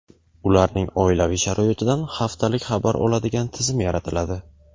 ularning oilaviy sharoitidan haftalik xabar oladigan tizim yaratiladi.